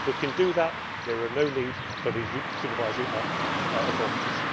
If we can do that, there is no need for these supervisory authorities.